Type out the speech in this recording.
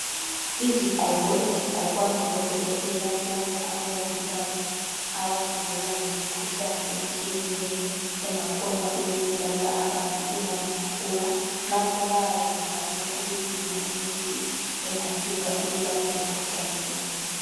Izigqoko ezigqokwa ngabodokotela kumbe abomongikazi abafundela ngemikhuhlane etshiyeneyo engakhona ukubulala abantu uma ingaphuma lapho bayabe bezama ukudinga imithi engasiza ukulapha imikhuhlane le.